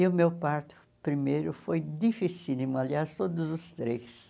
E o meu parto primeiro foi dificílimo, aliás, todos os três.